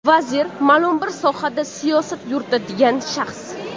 Vazir – ma’lum bir sohada siyosat yuritadigan shaxs.